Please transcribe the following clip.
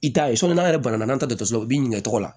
I t'a ye n'an yɛrɛ bana n'an tɛ dɔkɔtɔrɔso la u bi ɲin'a la